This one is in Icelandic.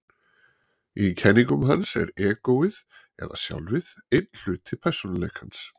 Í kenningum hans er egóið, eða sjálfið, einn hluti persónuleikans.